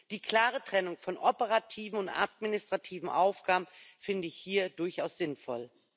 Die klare Trennung von operativen und administrativen Aufgaben finde ich hier durchaus sinnvoll.